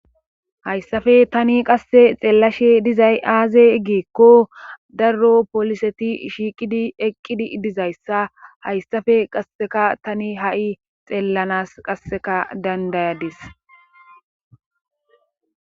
Hayssaope qasse tani xeelahe dizay aaze giikko dar pooliseti shiiqidi dizayssa hayssape qasseka tani ha7i xeellanaas qasseka danddayadis.